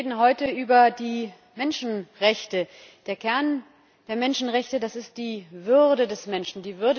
Wir reden heute über die Menschenrechte. Der Kern der Menschenrechte ist die Würde des Menschen.